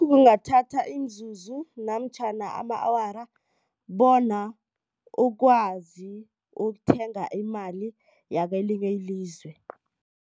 Kungathatha imizuzu namtjhana ama-awara bona ukwazi ukuthenga imali yakwelinye ilizwe.